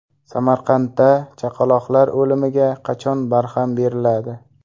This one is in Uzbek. Samarqandda chaqaloqlar o‘limiga qachon barham beriladi?.